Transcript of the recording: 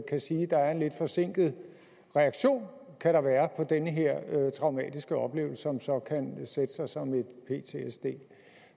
kan sige er en lidt forsinket reaktion på den traumatiske oplevelse som så kan sætte sig som ptsd